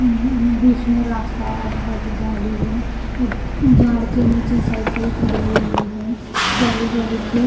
उ उम्म बीच में रास्ता आजू बाजू झाड़ी है एक झाड़ के नीचे साइकिल खड़ी हुई है जाली जाली की।